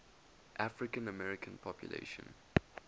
african american population